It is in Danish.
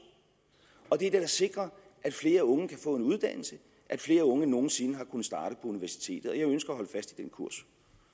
og det vil da sikre at flere unge kan få en uddannelse at flere unge end nogen sinde har kunnet starte universitetet og